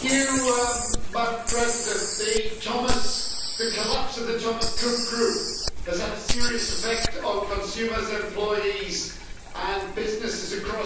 Madam President, the collapse of the Thomas Cook Group has had a serious effect on consumers, employees and businesses across Europe.